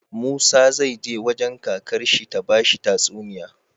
Musa zai je wajan kakar shi ta bashi tatsuniya